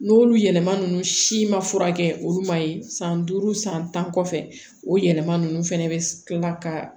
N'olu yɛlɛma nunnu si ma furakɛ olu ma ye san duuru san tan kɔfɛ o yɛlɛma nunnu fɛnɛ be kila ka